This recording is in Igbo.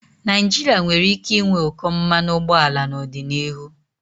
Naijiria nwere ike ịnwe ụkọ mmanụ ụgbọala n'ọdịnihu.